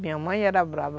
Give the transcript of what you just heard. Minha mãe era brava.